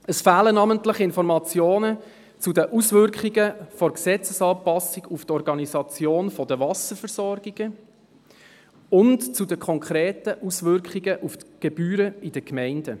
Es fehlen namentlich Informationen zu den Auswirkungen der Gesetzesanpassung auf die Organisation der Wasserversorgungen und zu den konkreten Auswirkungen auf die Gebühren in den Gemeinden;